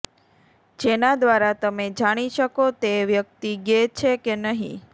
જેના દ્વારા તમે જાણી શકો કે તે વ્યક્તિ ગે છે કે નહીં